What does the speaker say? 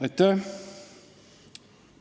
Aitäh!